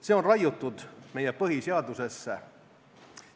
See on raiutud meie põhiseadusesse.